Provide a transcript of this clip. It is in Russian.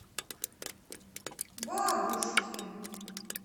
бабушкин